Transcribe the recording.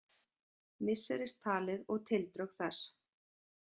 Misseristalið og tildrög þess.